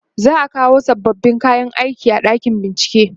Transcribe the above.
za'a kawo sababbin kayan aiki a ɗakin bincike